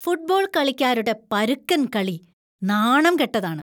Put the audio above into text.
Football കളിക്കാരുടെ പരുക്കൻ കളി നാണം കെട്ടതാണ്.